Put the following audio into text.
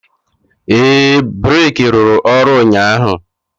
ee, breeki rụrụ ọrụ ụnyaahụ.